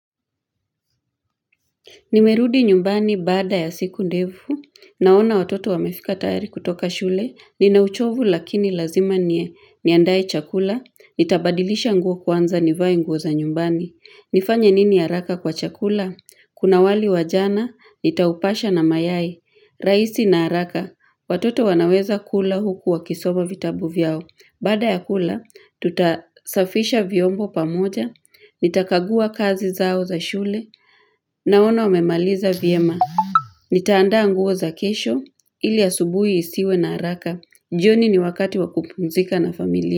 Nimerudi nyumbani baada ya siku ndefu, naona watoto wamefika tayari kutoka shule, ninauchovu lakini lazima nie, niandae chakula, nitabadilisha nguo kwanza nivai nguo za nyumbani. Nifanye nini haraka kwa chakula? Kuna wali wa jana, nitaupasha na mayai, rahisi na haraka, watoto wanaweza kula huku wakisoma vitabu vyao. Baada ya kula, tutasafisha vyombo pamoja, nitakagua kazi zao za shule, naona wamemaliza vyema. Nitaandaa nguo za kesho, ili ya asubuhi isiwe na haraka. Jioni ni wakati wakupumzika na familia.